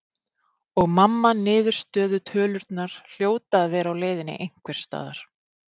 Og mamma niðurstöðutölurnar hljóta að vera á leiðinni einhvers staðar.